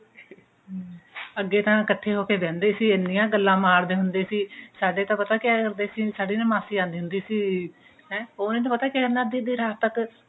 ਅੱਗੇ ਤਾਂ ਇੱਕਠੇ ਹੋ ਕੇ ਬਹਿੰਦੇ ਸੀ ਇਹਨੀਂ ਗੱਲਾ ਮਾਰਦੇ ਹੁੰਦੇ ਸੀ ਸਾਡੇ ਤਾਂ ਪਤਾ ਕਿਆ ਕਰਦੇ ਸੀ ਸਾਡੀ ਨਾ ਮਾਸੀ ਆਉਂਦੀ ਸੀ ਹਨਾ ਉਹਨੇ ਪਤਾ ਕਿਆ ਕਰਨਾ ਅੱਧੀ ਅੱਧੀ ਰਾਤ ਤੱਕ